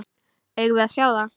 Eigum við að sjá það?